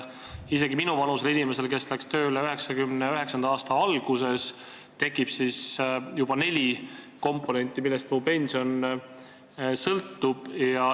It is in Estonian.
Isegi minuvanusel inimesel, kes läks tööle 1999. aasta alguses, tekib juba neli komponenti, millest mu pension sõltub.